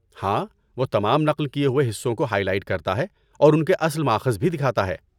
ہاں، وہ تمام نقل کیے ہوئے حصوں کو ہائی لائٹ کرتا ہے اور ان کے اصل ماخذ بھی دکھاتا ہے۔